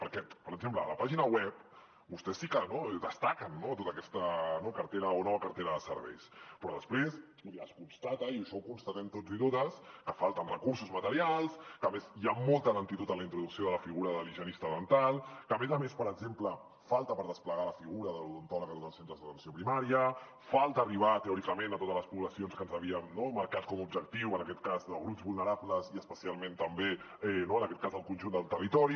perquè per exemple a la pàgina web vostès sí que destaquen tota aquesta cartera o nova cartera de serveis però després vull dir es constata i això ho constatem tots i totes que falten recursos materials que a més hi ha molta lentitud en la introducció de la figura de l’higienista dental que a més a més per exemple falta per desplegar la figura de l’odontòleg a tots els centres d’atenció primària falta arribar teòricament a totes les poblacions que ens havíem marcat com a objectiu en aquest cas de grups vulnerables i especialment també en aquest cas del conjunt del territori